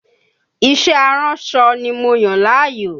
Iṣẹ́ aránsọ ni mo yàn láàyò